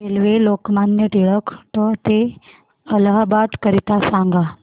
railway Lokmanya Tilak ट ते इलाहाबाद करीता सांगा